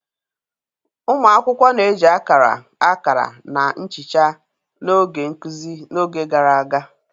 Ụmụ akwụkwọ na-eji akara, akara, na nchicha n'oge nkuzi n'oge gara aga.